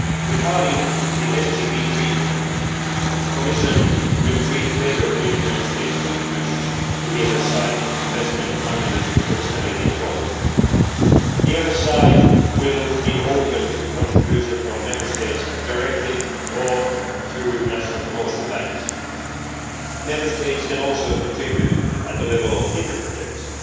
Regarding SGP treatment, the Commission will treat favourably Member States' contributions to EFSI investment under the SGP. The EFSI will be open to contributions from Member States directly or through national promotional banks. Member States can also contribute at the level of different projects.